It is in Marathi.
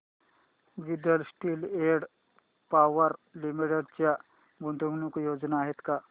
Jindal steel and power limited च्या गुंतवणूक योजना आहेत का